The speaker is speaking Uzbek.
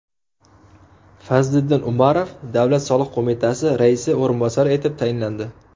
Fazliddin Umarov Davlat soliq qo‘mitasi raisi o‘rinbosari etib tayinlandi.